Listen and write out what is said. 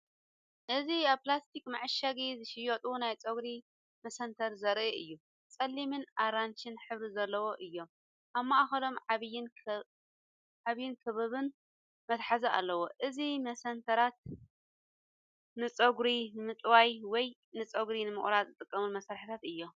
እዚ ኣብ ፕላስቲክ መዐሸጊ ዝሽየጡ ናይ ጸጉሪ መሰንተሪ ዘርኢ እዩ። ጸሊምን ኣራንሺን ሕብሪ ዘለዎም እዮም፣ ኣብ ማእከሎም ዓቢን ክቡብን መትሓዚ ኣለዎም። እዞም መሰንተራት ንጸጉሪ ንምጥዋይ ወይ ንጸጉሪ ንምቕራጽ ዝጥቀሙ መሳርሒታት እዮም።